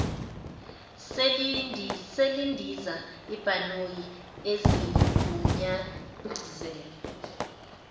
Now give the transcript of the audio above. selindiza ibhanoyi ezigunyazelwe